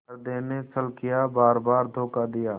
हृदय ने छल किया बारबार धोखा दिया